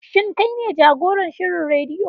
Shin kai ne jagoran shirin rediyo?